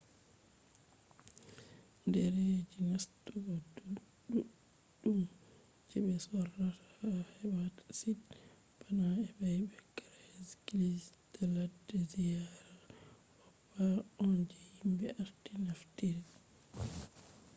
ɗerejil nastugo ɗuɗɗum je ɓe sorrata ha webasit bana ebay be craiglist je ladde ziyara hopa on je yimɓe arti naftiri